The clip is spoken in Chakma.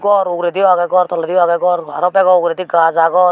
gor ugrediyo agey gor tolediyo agey aro bego ugredi gaas agon.